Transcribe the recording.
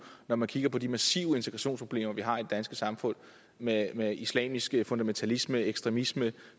når man kigger på de massive integrationsproblemer vi har i danske samfund med med islamisk fundamentalisme ekstremisme